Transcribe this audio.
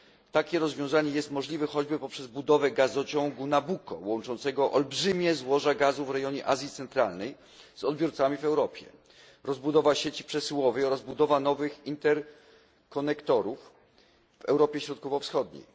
Takie rozwiązanie jest możliwe choćby przez budowę gazociągu Nabucco, łączącego olbrzymie złoża gazu w rejonie Azji Centralnej z odbiorcami w Europie, rozbudowa sieci przesyłowych oraz budowa nowych interkonektorów w Europie Środkowo Wschodniej.